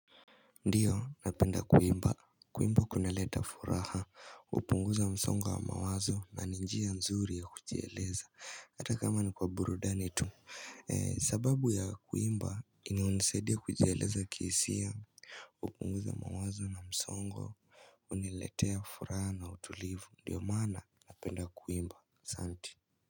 Ndiyo, napenda kuimba. Kuimba kunaleta furaha. Hupunguza msongo wa mawazo na ni njia nzuri ya kujieleza. Hata kama ni kwa burudani tu. Eh, sababu ya kuimba inayonisaidia kujieleza kihisia. Hupunguza mawazo na msongo huniletea furaha na utulivu. Ndiyo maana napenda kuimba. Asanti.